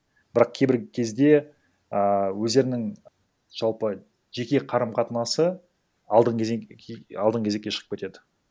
бірақ кейбір кезде ааа өздерінің жалпы жеке қарым қатынасы алдынғы алдынғы кезекке шығып кетеді